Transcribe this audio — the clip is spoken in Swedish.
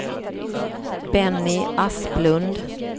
Benny Asplund